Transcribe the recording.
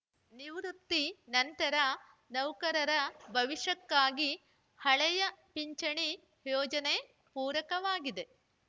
ನಿವೃತ್ತಿ ನಂತರ ನೌಕರರ ಭವಿಷ್ಯಕ್ಕಾಗಿ ಹಳೆಯ ಪಿಂಚಣಿ ಯೋಜನೆ ಪೂರಕವಾಗಿದೆ